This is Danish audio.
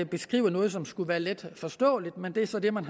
beskrive noget som skulle være letforståeligt men det er så det man